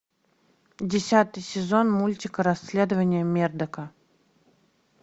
десятый сезон мультика расследование мердока